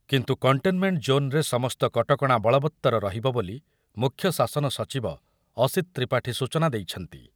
କିନ୍ତୁ କଣ୍ଟେନ୍‌ମେଣ୍ଟ୍‌ ଜୋନ୍‌ରେ ସମସ୍ତ କଟକଣା ବଳବତ୍ତର ରହିବ ବୋଲି ମୁଖ୍ୟ ଶାସନ ସଚିବ ଅସୀତ୍ ତ୍ରିପାଠୀ ସୂଚନା ଦେଇଛନ୍ତି।